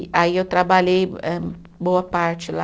Aí eu trabalhei âh boa parte lá.